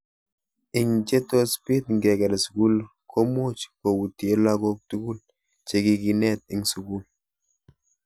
Ing che tos pit ngeker sugul ko much koutyee lagok tugul che kikinet ing sukul.